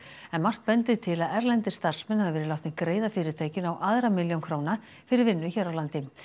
en margt bendir til að erlendir starfsmenn hafi verið látnir greiða fyrirtækinu á aðra milljón króna fyrir vinnu hér á landi